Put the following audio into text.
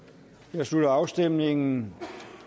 jeg slutter afstemningen